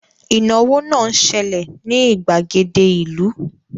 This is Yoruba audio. Ìnáwó náà ń ṣẹlẹ̀ ní ìgbàgede ìlú